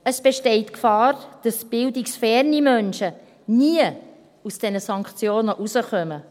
Es besteht die Gefahr, dass bildungsferne Menschen nie aus diesen Sanktionen herauskommen.